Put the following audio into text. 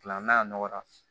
A n'a nɔgɔra